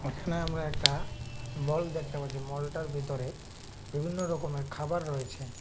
এখানে আমরা একটা মল দেখতে পাচ্ছি মলটার ভিতরে বিভিন্ন রকমের খাবার রয়েছে।